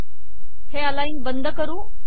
हे अलाइन बंद करू